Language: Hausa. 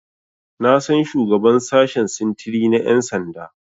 Na san shugaban sashen sintiri na Ƴan sanda.